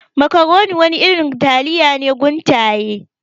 Makaroni wani irin taliya ne guntaye.